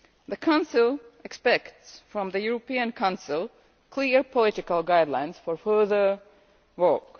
The Council expects from the European Council clear political guidelines for further work.